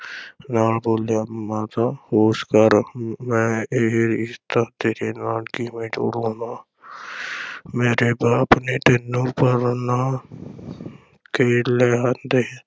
ਨਾਲ ਬੋਲਿਆ, ਮਾਤਾ ਹੋਸ਼ ਕਰ ਹਮ ਮੈਂ ਇਹ ਰਿਸ਼ਤਾ ਤੇਰੇ ਨਾਲ ਕਿਵੇਂ ਜੋੜ ਲਵਾਂ ਮੇਰੇ ਬਾਪ ਨੇ ਤੈਨੂੰ ਪਰਣਾ ਕੇ ਲਿਆਂਦੈ।